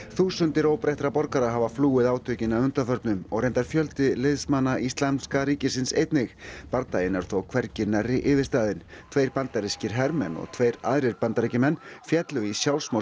þúsundir óbreyttra borgara hafa flúið átökin að undanförnu og reyndar fjöldi liðsmanna Íslamska ríkisins einnig bardaginn er þó hvergi nærri yfirstaðinn tveir bandarískir hermenn og tveir aðrir Bandaríkjamenn féllu í